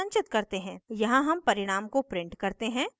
यहाँ हम परिणाम को print करते हैं